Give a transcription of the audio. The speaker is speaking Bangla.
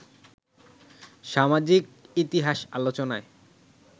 সামাজিক ইতিহাস আলোচনায়